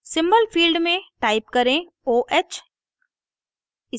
symbol field में type करें oh